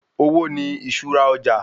Owó wà ní iṣura ọjà